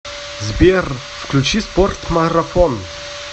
сбер включи спорт марафон